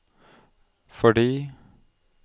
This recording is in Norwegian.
fordi